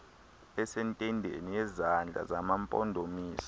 esentendeni yezandla zamampondomise